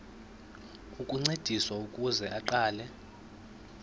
ukuncediswa ukuze aqale